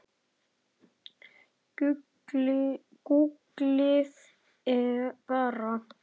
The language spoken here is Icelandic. Gúgglið bara.